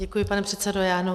Děkuji, pane předsedo.